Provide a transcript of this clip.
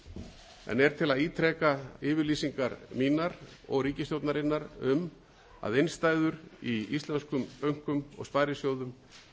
áður en er til að ítreka yfirlýsingar mínar og ríkisstjórnarinnar um að innstæður í íslenskum bönkum og sparisjóðum